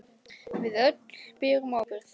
Við öll berum ábyrgð.